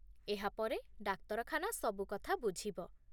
ଏହା ପରେ ଡାକ୍ତରଖାନା ସବୁକଥା ବୁଝିବ।